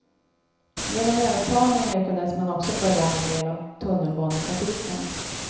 Genom övertalning lyckades man också få igång en del av tunnelbanetrafiken.